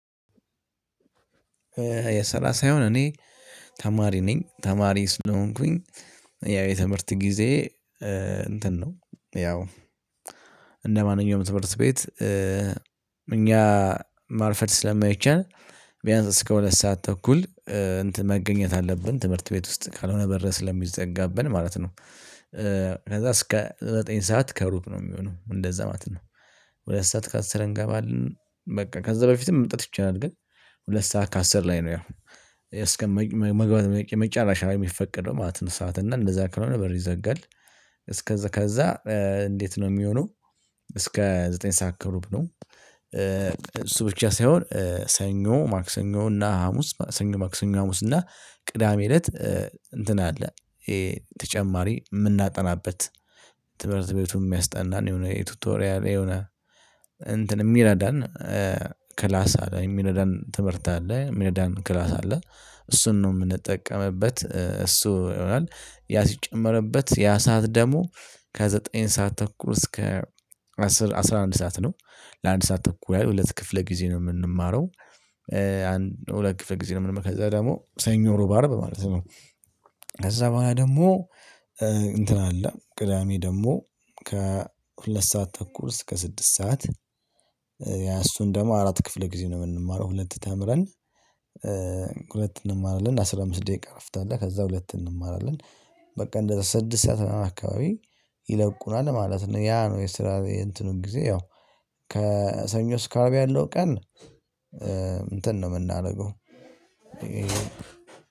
የሰላሳ የሆን እኔ ተማሪ ነኝ ተማሪ ስለሆንኩኝ ያው የትምህርት ጊዜዬ እንትን ነው ያው እንደ ማንኛውም ትምህርት ቤት እኛ ማርፈር ስለማይቻል ቢያንስ እስከ ሁለት ሰዓት ተኩል እንትን መገኘት አለብን። ትምህርት ቤት ውስጥ ካልሆነ በር ስለሚዘጋብን ማለት ነው። ከዛ እስከ ዘጠኝ ሰዓት ከሩብ ነው የሚሆነው እንደዛ ማለት ነው። ሁለት ሰዓት ከሰረን ገባልን በቃ ከዛ በፊትም መምጣት ይቻላል። ግን ሁለት ሰዓት ከአስር ላይ ነው። ያው እስከ መግባት የመጨረሻ ላይ የሚፈቀደው ማለት ነው። ሰዓት እና እንደዛ ከሆነ በር ይዘጋል። እስከዛ ከዛ እንዴት ነው ሚሆነው? እስከ ዘጠኝ ሰዓት ከሩብ ነው። እሱ ብቻ ሳይሆን ሰኞ ማክሰኞ እና ሀሙስ ሰኞ ማክሰኞ ሀሙስ እና ቅዳሜ እለት እንትን አለ። ተጨማሪ ምናጠናበት ትምህርት ቤቱን ሚያስጠናን የሆነ የቱቶሪያል የሆነ እንትን ሚረዳን ክላስ አለ ሚረዳን ትምህርት አለ ሚረዳን አለ። እሱን ነው ምንጠቀምበት እሱ ይሆናል ያ ሲጨመርበት ያ ሰዓት ደሙ። ከዘጠኝ ሰዓት ተኩል እስከ አስር አስራ አንድ ሰዓት ነው። ለአንድ ሰዓት ተኩል ያለው ሁለት ክፍለ ጊዜ ነው ምንማረው። አንድ ሁለት ክፍለ ጊዜ ምን ደግሞ ሰኞ እሮብ አረብ ማለት ነው። ከዛ በኋላ ደግሞ እንትን አለ ቅዳሜ ደግሞ ከሁለት ሰዓት ተኩል እስከ ስድስት ሰዓት። ያ እሱን ደግሞ አራት ክፍል ጊዜ ነው የምንማረው። ሁለት ተምረን ሁለት እንማራለን አስራ አምስት ደቂቃ እረፍት አለ ከዛ ሁለት እንማራለን። በቃ እንደ ስድስት ሰዓት አካባቢ ይለቁናል ማለት ነው። ያ ነው የስራ የእንትኑን ጊዜ ያው ከሰኞ እስከ አርብ ያለው ቀን እንትን ነው የምናደርገው።